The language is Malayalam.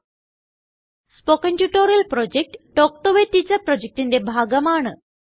spoken tutorial project talk to a teacher പ്രൊജക്റ്റിന്റെ ഭാഗമാണ്